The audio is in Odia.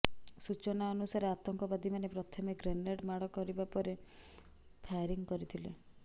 ସୂଚନା ଅନୁସାରେ ଆତଙ୍କବାଦୀମାନେ ପ୍ରଥମେ ଗ୍ରେନେଡ୍ ମାଡ କରିବା ପରେ ଫାୟାରିଂ କରିଥିଲେ